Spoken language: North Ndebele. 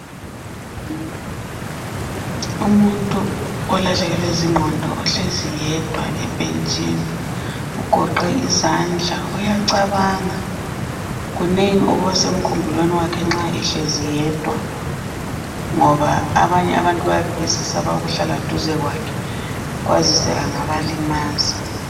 umuntu olahlekelwe zinqondo ohlezi yedwa ebhetshini ugoqe izandla uyacabanga kunengi okubasemkhumbulweni wakhe nxa ehlezi yedwa ngoba abanye abantu bayabe besesaba ukuhlala duze kwakhe kwazise angabalimaza